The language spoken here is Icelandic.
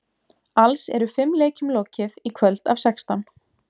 Alls eru fimm leikjum lokið í kvöld af sextán.